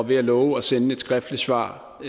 vil love at sende et skriftligt svar og